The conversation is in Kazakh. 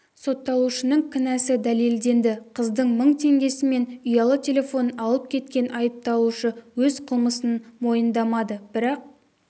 сотталушының кінәсі дәлелденді қыздың мың теңгесі мен ұялы телефонын алып кеткен айыпталушы өз қылмысын мойындамады бірақ